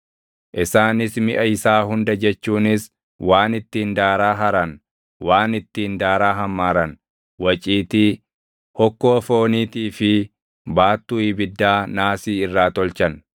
Isaanis miʼa isaa hunda jechuunis waan ittiin daaraa haran, waan ittiin daaraa hammaaran, waciitii, hokkoo fooniitii fi baattuu ibiddaa naasii irraa tolchan.